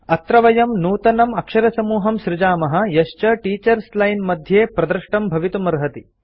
अत्र वयं नूतनम् अक्षरसमूहं सृजामः यश्च टीचर्स लाइन मध्ये प्रदृष्टं भवितुमर्हति